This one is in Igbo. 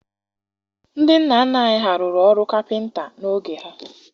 Ndị nna nna anyị ha rụrụ ọrụ kapịnta n'oge ha.